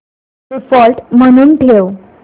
default म्हणून ठेव